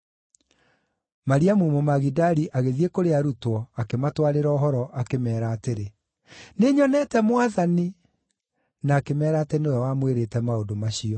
Mariamu Mũmagidali agĩthiĩ kũrĩ arutwo, akĩmatwarĩra ũhoro, akĩmeera atĩrĩ, “Nĩnyonete Mwathani!” Na akĩmeera atĩ nĩwe wamwĩrĩte maũndũ macio.